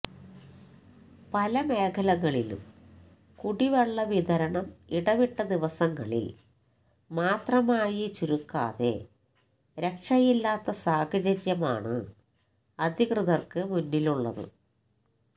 പല മേഖലകളിലും കുടിവെള്ളവിതരണം ഇടവിട്ട ദിവസങ്ങളിൽ മാത്രമായി ചുരുക്കാതെ രക്ഷയില്ലാത്ത സാഹചര്യമാണ് അധികൃതർക്ക് മുന്നിലുള്ളത്